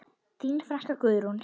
Þín frænka, Guðrún.